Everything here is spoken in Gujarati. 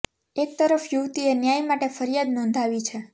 એક તરફ યુવતી એ ન્યાય માટે ફરિયાદ નોંધાવી છે